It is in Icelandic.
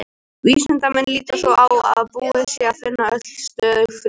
Vísindamenn líta svo á að búið sé að finna öll stöðug frumefni.